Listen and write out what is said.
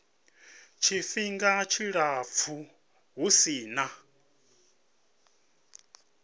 tshifhinga tshilapfu hu si na